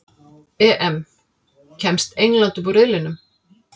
EM: Kemst England upp úr riðlinum?